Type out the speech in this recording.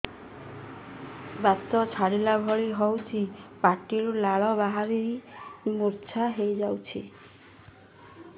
ବାତ ଛାଟିଲା ଭଳି ହଉଚି ପାଟିରୁ ଲାଳ ବାହାରି ମୁର୍ଚ୍ଛା ହେଇଯାଉଛି